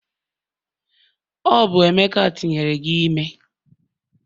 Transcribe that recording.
Ọ bụ emeka tinyere gi ime?